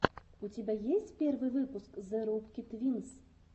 у тебя есть первый выпуск зе рубки твинс